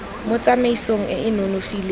mo tsamaisong e e nonofileng